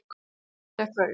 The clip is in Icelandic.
Í dag gekk það upp.